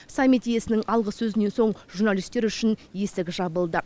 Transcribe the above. саммит иесінің алғы сөзінен соң журналистер үшін есік жабылды